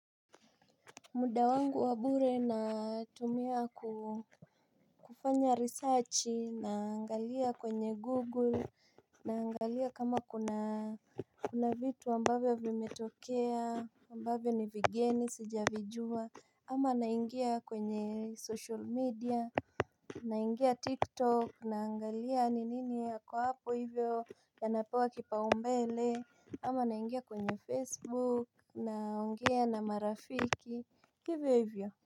Muda wangu wa bure natumia kufanya research, naangalia kwenye Google, naangalia kama kuna vitu ambavyo vimetokea, ambavyo ni vigeni, sijavijua, ama naingia kwenye social media, naingia TikTok, naangalia ni nini yako hapo hivyo yanapewa kipaumbele, ama naingia kwenye Facebook, naongea na marafiki. Hivyo hivyo.